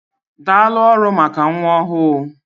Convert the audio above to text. Daalụ ọrụ maka nwa ọhụụ.